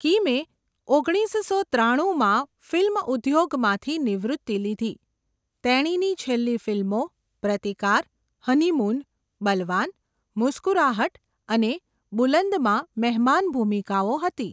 કિમે ઓગણીસસો ત્રાણું ફિલ્મ ઉદ્યોગમાંથી નિવૃત્તિ લીધી. તેણીની છેલ્લી ફિલ્મો 'પ્રતિકાર', 'હનીમૂન', 'બલવાન', 'મુસ્કુરાહટ' અને 'બુલંદ'માં મહેમાન ભૂમિકાઓ હતી.